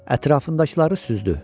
Ətrafındakıları süzdü.